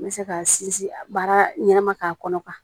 N bɛ se ka sinsin baara ɲɛnɛma k'a kɔnɔ kuwa